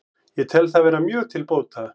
Ég tel það vera mjög til bóta